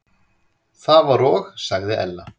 Það var og sagði Ella.